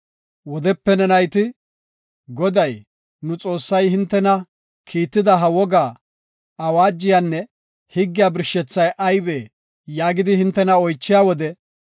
Wodepe ne nayti, “Goday, nu Xoossay hintena kiitida ha wogaa, awaajiyanne higgiya birshethay aybee?” yaagidi hintena oychiya wode,